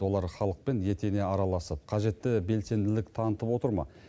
олар халықпен етене араласып қажетті белсенділік танытып отыр ма